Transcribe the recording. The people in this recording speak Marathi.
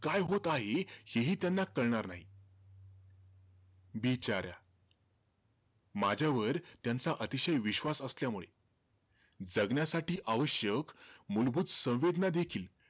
काय होत आहे, हेही त्यांना कळणार नाही. बिचार्या. माझ्यावर त्यांचा अतिशय विश्वास असल्यामुळे, जगण्यासाठी आवश्यक मूलभूत संवेदनादेखील,